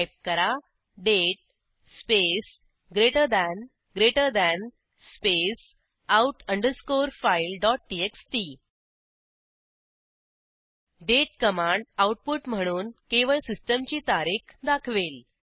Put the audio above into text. type करा date space greater than greater than space out underscore fileटीएक्सटी date command output म्हणून केवळ सिस्टीमची तारीख दाखवेल